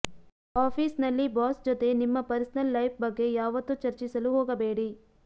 office ನಲ್ಲಿ boss ಜತೆ ನಿಮ್ಮ ಪರ್ಸನಲ್ ಲೈಫ್ ಬಗ್ಗೆ ಯಾವತ್ತೂ ಚರ್ಚಿಸಲು ಹೋಗಬೇಡಿ